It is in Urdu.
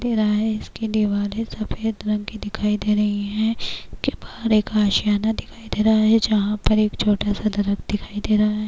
اس کی دیوار سفید رکھی دکھائی دے رہی ہیں اس کے باہر ایک اشیانہ دکھائی دے رہا ہے جہاں پر ایک چھوٹا سا درخت دکھائی دے رہا ہے-